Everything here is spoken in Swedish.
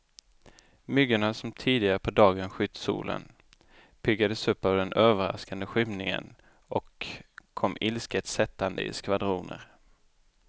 Myggorna som tidigare på dagen skytt solen, piggades upp av den överraskande skymningen och kom ilsket sättande i skvadroner.